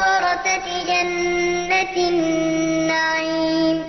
وَرَثَةِ جَنَّةِ النَّعِيمِ